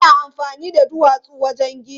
Ana amfani da duwatsu wajen gini.